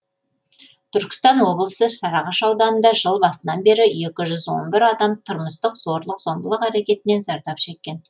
түркістан облысы сарыағаш ауданында жыл басынан бері екі жүз он бір адам тұрмыстық зорлық зомбылық әрекеттерінен зардап шеккен